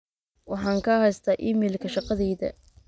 waxaan ka haystaa iimaylka shaqadayda